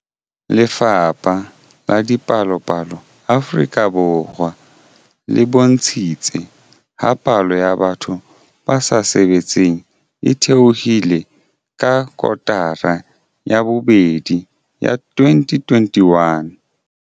Lefapha la Dipalopalo Afrika Borwa le bontshitse ha palo ya batho ba sa sebetseng e theohile ka kotara ya bobedi ya 2021.